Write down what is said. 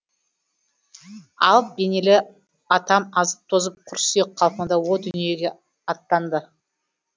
алып денелі атам азып тозып құр сүйек қалпында о дүниеге аттанды